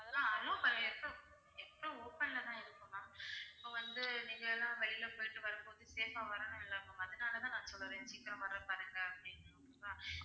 அதெல்லாம் allow எப்பவும் open ல தான் இருக்கும் ma'am so வந்து நீங்க எல்லாம் வெளியில போயிட்டு வரும்போது safe ஆ வரணும் இல்ல ma'am அதனால தான் நான் சொல்றேன் சீக்கிரம் வர பாருங்க அப்படின்னு okay வா